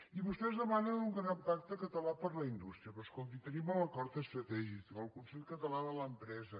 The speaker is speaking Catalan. i vostès demanen un gran pacte català per a la indústria però escolti tenim l’acord estratègic el consell català de l’empresa